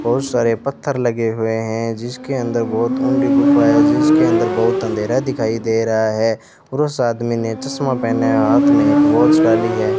बहुत सारे पत्थर लगे हुए हैं जिसके अंदर बहोत उन्दी गुफा है जिसके अंदर बहुत अंधेरा दिखाई दे रहा है उस आदमी ने चश्मा पहना है हाथ में एक वॉच डाली है।